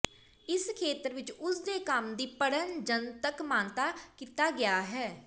ਇਸ ਖੇਤਰ ਵਿੱਚ ਉਸ ਦੇ ਕੰਮ ਦੀ ਪੜ੍ਹਨ ਜਨਤਕ ਮਾਨਤਾ ਕੀਤਾ ਗਿਆ ਹੈ